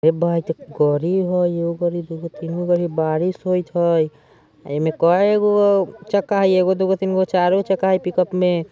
ये बाइत गड़ी हई ये एगो गाड़ी दुगो तीनगो गाड़ी हई बारिस होत हई अइमे में कई गो चक्का है एक गो दो गो तीन गो चार गो चक्का है पिकअप में--